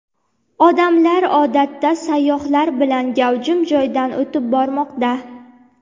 Odamlar odatda sayyohlar bilan gavjum joydan o‘tib bormoqda.